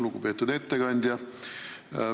Lugupeetud ettekandja!